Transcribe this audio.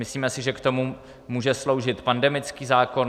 Myslíme si, že k tomu může sloužit pandemický zákon.